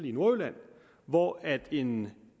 i nordjylland hvor en